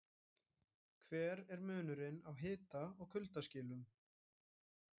Hver er munurinn á hita- og kuldaskilum?